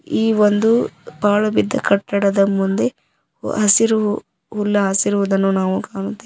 ಈ ಒಂದು ಪಾಳು ಬಿದ್ದ ಕಟ್ಟಡದ ಮುಂದೆ ಹಸಿರು ಹುಲ್ಲಾಸಿರುವುದನ್ನು ನಾವು ಕಾಣುತ್ತೇವೆ.